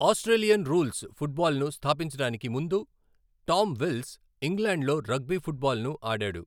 Australian rules ఫుట్బాల్ను స్థాపించడానికి ముందు టామ్ విల్స్ ఇంగ్లాండ్లో రగ్బీ ఫుట్బాల్ను ఆడాడు.